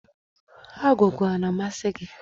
Agwụgwa a na-amasị gị?